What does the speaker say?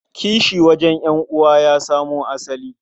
Kishi wajen ƴan'uwa ya samo asali.